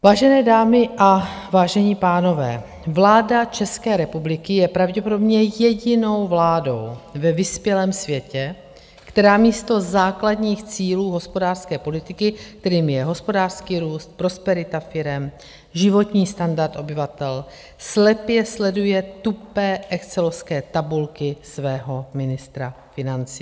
Vážené dámy a vážení pánové, vláda České republiky je pravděpodobně jedinou vládou ve vyspělém světě, která místo základních cílů hospodářské politiky, kterými je hospodářský růst, prosperita firem, životní standard obyvatel, slepě sleduje tupé excelovské tabulky svého ministra financí.